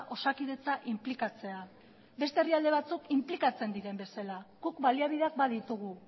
osakidetza inplikatzea beste herrialde batzuk inplikatzen diren bezala guk baliabideak baditugu